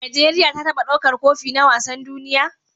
Nigeria ta taba ɗaukar Kofi na wasan duniya?